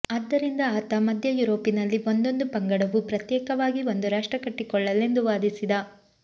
ಆದ್ದರಿಂದ ಆತ ಮಧ್ಯ ಯುರೋಪಿನಲ್ಲಿ ಒಂದೊಂದು ಪಂಗಡವೂ ಪ್ರತ್ಯೇಕವಾಗಿ ಒಂದು ರಾಷ್ಟ್ರ ಕಟ್ಟಿಕೊಳ್ಳಲೆಂದು ವಾದಿಸಿದ